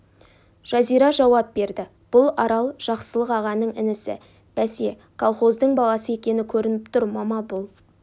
жазира жауап берді бұл арал жақсылық ағаның інісі бәсе колхоздың баласы екені көрініп тұр мама бұл